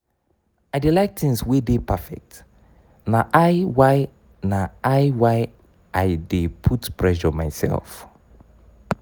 i dey like tins wey dey perfect na i why na i why i dey put pressure mysef.